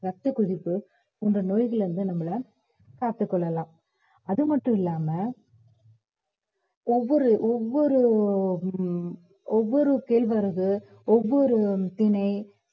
ரத்தக் கொதிப்பு போன்ற நோய்கள்ல இருந்து நம்மளை காத்துக் கொள்ளலாம் அது மட்டும் இல்லாம ஒவ்வொரு ஒவ்வொரு உம் ஒவ்வொரு கேழ்வரகு ஒவ்வொரு திணை